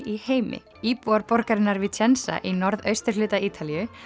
í heimi íbúar borgarinnar í norðausturhluta Ítalíu